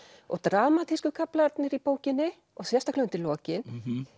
og dramatísku kaflarnir í bókinni og sérstaklega undir lokin